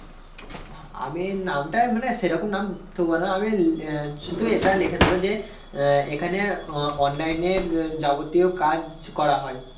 আমি নামটায় মানে সে রকম নাম থবনা আমি ওই আহ শুধু এটা লিখে দেব যে আহ এখানে আহ online এর আহ যাবতীয় কাজ করা হয়